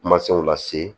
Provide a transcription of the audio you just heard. Masaw lase